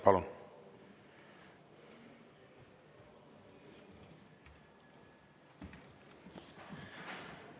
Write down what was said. Palun!